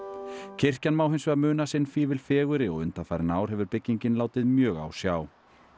kirkjan má hins vegar muna sinn fífil fegurri og undanfarin ár hefur byggingin látið mjög á sjá